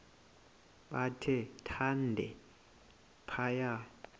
bathe thande phaya